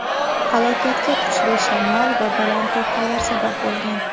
Halokatga kuchli shamol va baland to‘lqinlar sabab bo‘lgan.